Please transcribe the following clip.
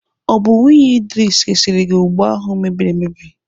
Ọ bụ nwunye Idris resiri gị ụgba ahụ mebiri emebi?